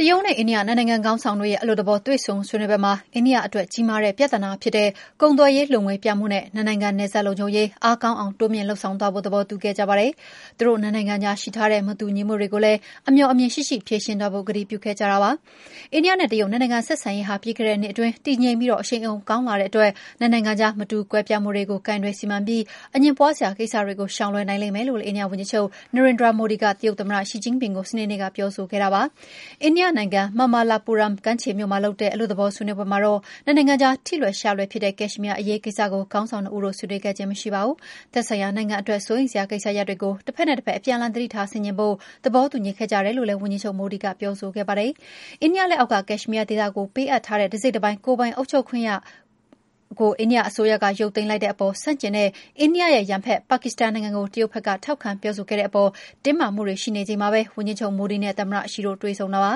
တရုတ်နဲ့ အိန္ဒိယ နှစ်နိုင်ငံခေါင်းဆောင်တွေရဲ့ အလွတ်သဘော တွေ့ဆုံဆွေးနွေးပွဲမှာ အိန္ဒိယအတွက် ကြီးမားတဲ့ပြဿနာဖြစ်တဲ့ ကုန်သွယ်ရေးလိုငွေပြမှုနဲ့ နှစ်နိုင်ငံ နယ်စပ်လုံခြုံရေး အားကောင်းအောင် တိုးမြှင့်လုပ်ဆောင်သွားဖို့ သဘောတူခဲ့ကြပါတယ်။ သူတို့နှစ်နိုင်ငံကြားရှိထားတဲ့ မတူညီမှုတွေကိုလည်း အမြော်အမြင်ရှိရှိ ဖြေရှင်းသွားဖို့ ကတိပြုခဲ့ကြပါတယ်။ အိန္ဒိယနဲ့ တရုတ် နှစ်နိုင်ငံဆက်ဆံရေးဟာ ပြီးခဲ့တဲ့နှစ်အတွင်း တည်ငြိမ်ပြီး အရှိန်အဟုန် ကောင်းလာခဲ့တဲ့အတွက် နှစ်နိုင်ငံကြား မတူကွဲပြားမှုတွေကို ကိုင်တွယ်စီမံပြီး အငြင်းပွားစရာ ကိစ္စတွေကို ရှောင်လွှဲနိုင်လိမ့်မယ်လို့ အိန္ဒိယဝန်ကြီးချုပ် Narendra Modi က တရုတ်သမ္မတ Xi Jinping ကို စနေနေ့က ပြောဆိုခဲ့ပါတယ်။ အိန္ဒိယနိုင်ငံ Mamallapuram ကမ်းခြေမြို့မှာလုပ်တဲ့ အလွတ်သဘော ဆွေးနွေးပွဲမှာတော့ နှစ်နိုင်ငံကြား ထိလွယ်ရှလွယ်ဖြစ်တဲ့ ကက်ရှ်မီးယားအရေးကိစ္စကို ခေါင်းဆောင်နှစ်ဦးတို့ ဆွေးနွေးခြင်းမရှိခဲ့ပါဘူး။ သက်ဆိုင်ရာနိုင်ငံအတွက် စိုးရိမ်စရာကိစ္စရပ်တွေကို တဖက်နဲ့တဖက် အပြန်အလှန် သတိထားဆင်ခြင်ဖို့ သဘောတူညီခဲ့ကြတယ်လို့လည်း ဝန်ကြီးချုပ် Modi က ပြောဆိုခဲ့ပါတယ်။ အိန္ဒိယလက်အောက်က ကက်ရှ်မီးယားဒေသကို ပေးအပ်ထားတဲ့ တစိတ်တပိုင်း ကိုယ်ပိုင်အုပ်ချုပ်ခွင့်ကို အိန္ဒိယအစိုးရက ရုပ်သိမ်းလို်က်တဲ့အပေါ် ဆန့်ကျင်တဲ့ အိန္ဒိယရဲ့ ရန်ဘက် ပါကစ္စတန်နိုင်ငံကို တရုတ်က ထောက်ခံပြောဆိုခဲ့တဲ့အပေါ် တင်းမာမှုတွေ ရှိနေချိန်မှာပဲ ဝန်ကြီးချုပ် Modi နဲ့ သမ္မတ Xi တို့ တွေ့ဆုံတာပါ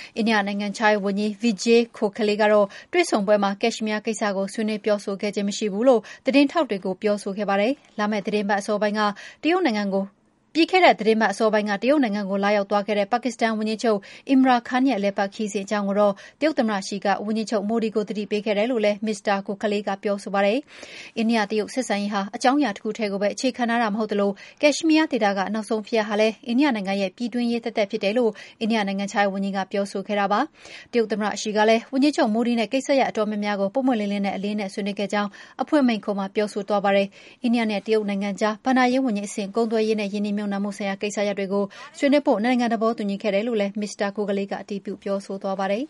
။ အိန္ဒိယနိုင်ငံခြားရေးဝန်ကြီး Vijay Gokhale က တွေ့ဆုံပွဲမှာ ကက်ရှ်မီးယားကိစ္စကို ဆွေးနွေးပြောဆိုခဲ့ခြင်း မရှိဘူးလို့ သတင်းထောက်တွေကို ပြောဆိုခဲ့ပါတယ်။ ဒါပေမယ့်လည်း ဒီသီတင်းပတ်အစောပိုင်းက တရုတ်နိုင်ငံကို လာရောက်ခဲ့တဲ့ ပါကစ္စန်ဝန်ကြီးချုပ် Imran Khan ရဲ့ အလည်အပတ်ခရီးစဉ် အကြောင်းကိုတော့ တရုတ်သမ္မတ Xi က ဝန်ကြီးချုပ် Modi ကို အသိပေးခဲ့တယ်လို့ Mr. Gokhale က ဆိုပါတယ်။ အိန္ဒိယ-တရုတ် ဆက်ဆံရေးဟာ အကြောင်းအရာတခုတည်းကိုပဲ အခြေခံထားတာ မဟုတ်သလို ကက်ရှ်မီးယားဒေသက နောက်ဆုံးဖြစ်ရပ်ဟာလည်း အိန္ဒိယနိုင်ငံရဲ့ ပြည်တွင်းရေးသက်သက်ဖြစ်တယ်လို့ အိန္ဒိယနိုင်ငံခြားရေးဝန်ကြီး Gokhale က ပြောဆိုခဲ့ပါတယ်။ တရုတ်သမ္မတ Xi ကလည်း ဝန်ကြီးချုပ် Modi နဲ့ ကိစ္စရပ်အတော်များများကို ပွင့်ပွင့်လင်းလင်းနဲ့ အလေးအနက် ဆွေးနွေးခဲ့ကြောင်း အဖွင့်မိန့်ခွန်းမှာ ပြောဆိုသွားတယ်။ အသေးစိတ် အချက်အလက်တွေကိုတော့ ပြောမသွားပါဘူး။ တရုတ်နဲ့ အိန္ဒိယကြား ဘဏ္ဍာရေးဝန်ကြီးအဆင့် ကုန်သွယ်ရေးနဲ့ ရင်းနှီးမြှုပ်နှံမှုဆိုင်ရာ ကိစ္စရပ်တွေကို ဆွေးနွေးဖို့ နှစ်နိုင်ငံ သဘောတူညီခဲ့တယ်လို့လည်း Mr. Gokhale က အတည်ပြု ပြောဆိုသွားပါတယ်